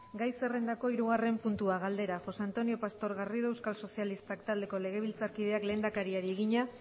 galdera josé antonio pastor garrido euskal sozialistak taldeko legebiltzarkideak lehendakariari egina